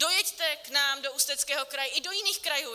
Dojeďte k nám do Ústeckého kraje, i do jiných krajů.